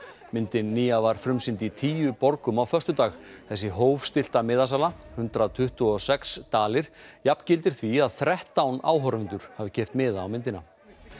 myndin nýja var frumsýnd í tíu borgum á föstudag þessi hófstillta miðasala hundrað tuttugu og sex dalir jafngildir því að þrettán áhorfendur hafi keypt miða á myndina